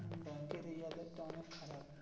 ব্যাংকের এই অদ্দদ টা অনেক খারাপ.